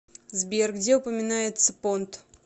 сбер где упоминается понт